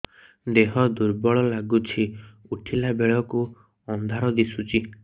ଦେହ ଦୁର୍ବଳ ଲାଗୁଛି ଉଠିଲା ବେଳକୁ ଅନ୍ଧାର ଦିଶୁଚି